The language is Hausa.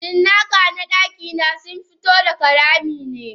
Cinnaka na dakina sunfi to daga ramine.